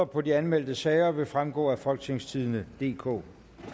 på de anmeldte sager vil fremgå af folketingstidende DK